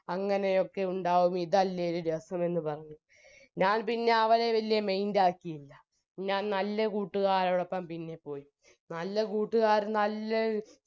അങ്ങനെ ഒക്കെ ഉണ്ടായാൽ ഇതല്ലേ ഒരു രസം എന്നു പറഞ്ഞു ഞാൻ പിന്നെ അവനെ വെല്യേ mind ആക്കിയില്ല ഞാൻ നല്ല കൂട്ടുകാരൊപ്പം പിന്നെ പോയി നല്ല കൂട്ടുകാരൻ അല്ലെ